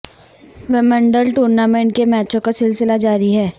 Wimbledon tournament کے میچوں کا سلسلہ جاری ہے